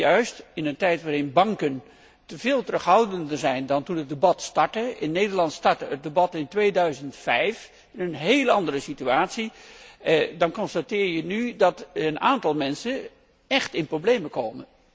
Juist in een tijd waarin banken veel terughoudender zijn dan toen het debat startte in Nederland startte het debat in 2005 in een heel andere situatie dan constateer je nu dat een aantal mensen echt in de problemen komt.